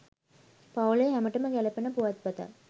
පවු‍ලේ හැමටම ගැළපෙන පුවත්පතක්